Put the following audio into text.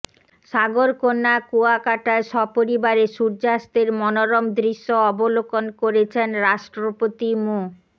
সাগরকন্যা কুয়াকাটায় সপরিবারে সূর্যাস্তের মনোরম দৃশ্য অবলোকন করেছেন রাষ্ট্রপতি মো